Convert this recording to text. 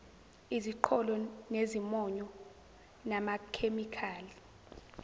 iziqholo nezimonyo namakhemikhali